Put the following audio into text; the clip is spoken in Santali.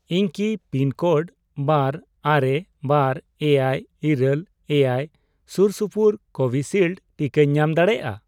ᱤᱧ ᱠᱤ ᱯᱤᱱᱠᱳᱰ ᱵᱟᱨ, ᱟᱨᱮ, ᱵᱟᱨ, ᱮᱭᱟᱭ, ᱤᱨᱟᱹᱞ, ᱮᱭᱟᱭ ᱥᱩᱨ ᱥᱩᱯᱩᱨ ᱠᱳᱵᱷᱤᱥᱤᱞᱰ ᱴᱤᱠᱟᱧ ᱧᱟᱢ ᱫᱟᱲᱮᱭᱟᱜᱼᱟ ?